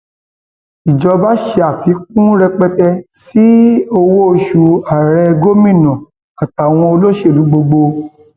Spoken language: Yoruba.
ìjọba ṣàfikún rẹpẹtẹ sí owóoṣù ààrẹ gómìnà àtàwọn olóṣèlú gbogbo